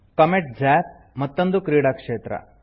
comet ಜಾಪ್ - ಮತ್ತೊಂದು ಕ್ರೀಡಾ ಕ್ಷೇತ್ರ